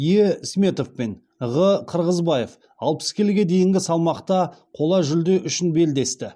е сметов пен ғ қырғызбаев алпыс келіге дейінгі салмақта қола жүлде үшін белдесті